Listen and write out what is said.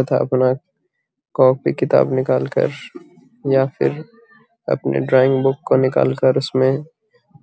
अपना कॉपी किताब निकाल कर या फिर अपने ड्राइंग बुक को निकाल कर उसमें